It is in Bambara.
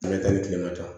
Ne ka kilen ka taa